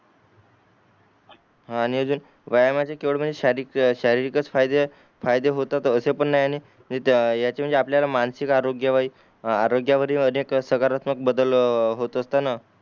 हान आणि अजून व्यायामाचे केवळ म्हणजे शारीरिकच फायदे फायदे होतात असे पण नाही आणि याचे म्हणजे आपल्याला मानसिक आरोग्य वही आरोग्यावरी अनेक सकारात्मक बदल होत असताना